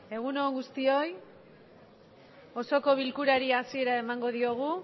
egun on guztioi osoko bilkurari hasiera emango diogu